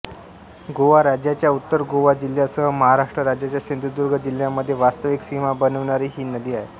गोवा राज्याच्या उत्तर गोवा जिल्ह्यासह महाराष्ट्र राज्याच्या सिंधुदुर्ग जिल्ह्यामध्ये वास्तविक सीमा बनविणारी ही नदी आहे